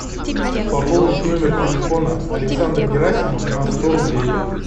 пополнить номер телефона александр герасимов на сто рублей